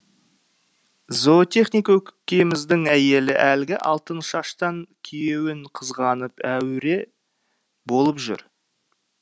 зоотехник көкеміздің әйелі әлгі алтыншаштан күйеуін қызғанып әуіре болып жүр